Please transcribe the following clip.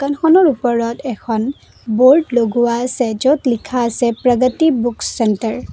দোকানখনৰ ওপৰত এখন ব'ৰ্ড লগোৱা আছে য'ত লিখা আছে প্ৰগতি বুক চেণ্টাৰ ।